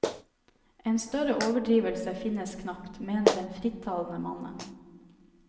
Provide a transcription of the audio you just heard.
En større overdrivelse finnes knapt, mener den frittalende mannen.